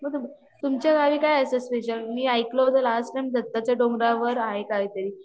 अच्छा तुमच्या गावी काय असं स्पेशल मी ऐकलं होतं लास्ट टाईम दत्ताच्या डोंगरावर आहे काही तरी